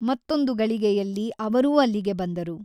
ಮತ್ತೊಂದು ಗಳಿಗೆಯಲ್ಲಿ ಅವರೂ ಅಲ್ಲಿಗೆ ಬಂದರು.